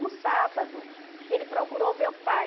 No sábado, ele procurou o meu pai.